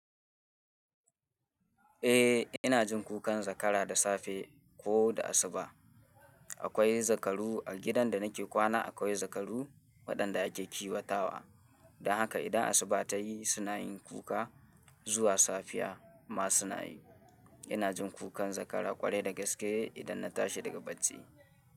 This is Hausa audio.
Eh, ina jin kukan zakara da safe ko da asuba. Akwai zakaru a gidan da nake kwana. Akwai zakaru waɗanda ake kiwatawa. Don haka idan asuba ta yi suna yin kuka zuwa safiya ma suna yi. Ina jin kukan zakara ƙwarai da gaske idan na tashi daga bacci.